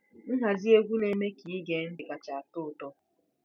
Nhazi egwu na-eme ka ige ntị kacha atọ ụtọ.